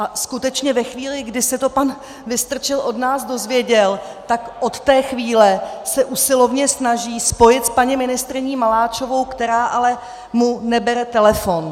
A skutečně ve chvíli, kdy se to pan Vystrčil od nás dozvěděl, tak od té chvíle se usilovně snaží spojit s paní ministryní Maláčovou, která mu ale nebere telefon.